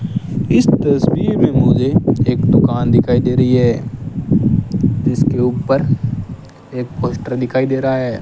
इस तस्वीर में मुझे एक दुकान दिखाई दे रही है जिसके ऊपर एक पोस्टर दिखाई दे रहा है।